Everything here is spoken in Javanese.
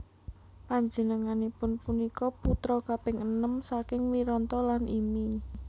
Panjenenganipun punika putra kaping enem saking Wiranta lan Imi